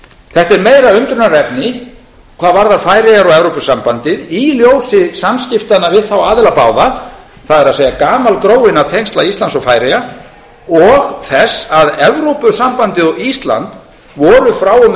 þetta er meira undrunarefni hvað varðar færeyjar og evrópusambandið í ljósi samskiptanna við þá aðila báða það er gamalgróinna tengsla íslands og færeyja og þess að evrópusambandið og ísland voru frá og með vori